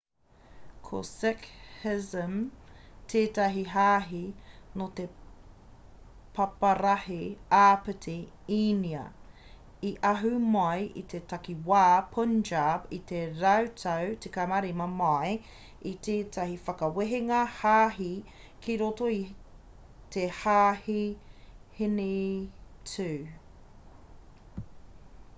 ko sikhism tētahi hāhi nō te paparahi āpiti īnia i ahu mai i te takiwā punjab i te rautau 15 mai i tētahi whakawehenga hāhi ki roto i te hāhi hinitū